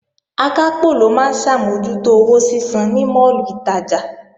Akápò ló máa ń ṣàmójútó owó sísan ní máàlù ìtajà